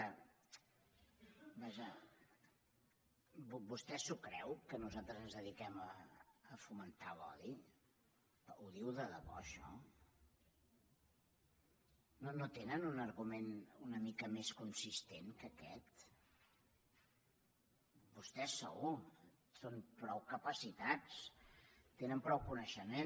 vaja vostè s’ho creu que nosaltres ens dediquem a fomentar l’odi ho diu de debò això no tenen un argument una mica més consistent que aquest vostès segur són prou capacitats tenen prou coneixement